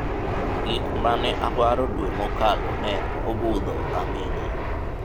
gik mane awaro dwe mokalo ne obudho aming'a